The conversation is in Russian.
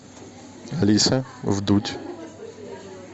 алиса вдудь